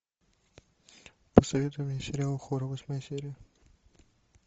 посоветуй мне сериал хор восьмая серия